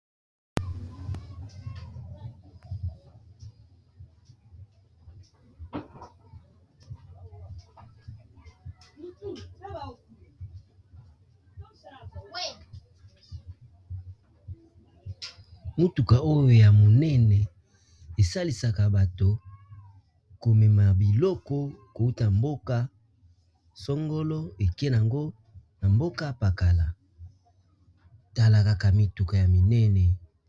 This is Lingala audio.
motuka oyo ya monene esalisaka bato komema biloko kouta mboka songolo eke yango na mboka pakala tala kaka mituka ya minene